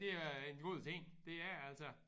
Det er en god ting det er det altså